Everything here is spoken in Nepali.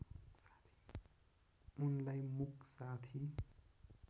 उनलाई मुक साथी